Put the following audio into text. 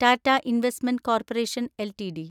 Tata investment corporation LTD